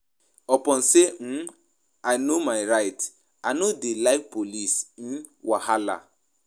Upon sey um I know my rights, I no dey like police um wahala.